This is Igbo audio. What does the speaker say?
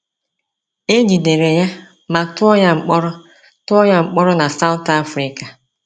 E jidere ya ma tụọ ya mkpọrọ tụọ ya mkpọrọ na South Afrịka.